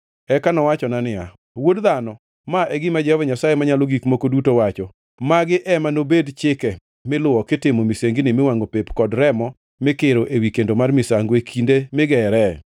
Eka nowachona niya, “Wuod dhano, ma e gima Jehova Nyasaye Manyalo Gik Moko Duto wacho: Magi ema nobed chike miluwo kitimo misengini miwangʼo pep kod remo mikiro ewi kendo mar misango e kinde migere: